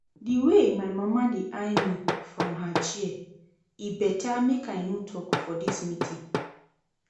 The way my mama dey eye me from her chair, e better make I no talk for dis meeting